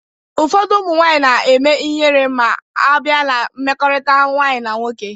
Ụfọdụ ụmụ nwanyị na-eme ịhere ma a bịa na mmekọrịta nwanyị na nwoke